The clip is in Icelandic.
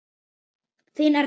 Þín, Erla.